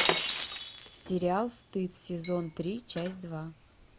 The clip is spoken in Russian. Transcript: сериал стыд сезон три часть два